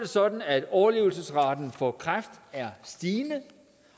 sådan at overlevelsesraten for kræft er stigende